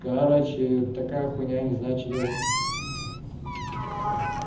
короче такая хуйня не знаю что делать